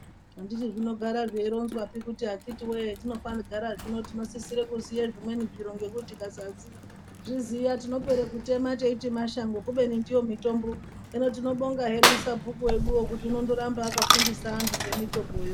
Anditi zvinogara zveironzwapi kuti akithi woye hetinogara tinosisira kuziva zvimweni zviro ngekuti tikasazviziva tinopera kutema teiti mashango kubeni ndiyo mitombo. Hino tinobonga hedu sabhuku weduwo kuti unondoramba akafundisa antu ngemitombo yo.